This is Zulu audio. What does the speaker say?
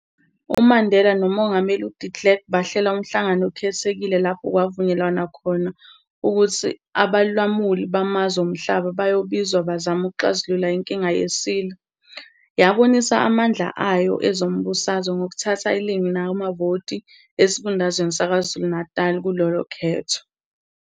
UMandela nomongameli uDe Klerk bahlela umhlangano okhethekile lapho kwavunyelwana khona ukuthi abalamuli bamazwe omhlaba bazobizwa bazame ukuxazulula inkinga yeSilo. Yabonisa amandla ayo ezombusazwe ngokuthatha iningi lamavoti esifundazweni saKwaZulu-Natal kulolo khetho.